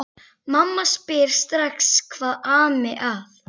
Mamma spyr strax hvað ami að.